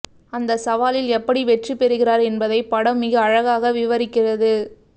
அந்தச் சவாலில் எப்படி வெற்றி பெறுகிறார் என்பதைப் படம் மிக அழகாக விவரிக்கிறது